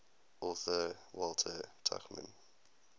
author walter tuchman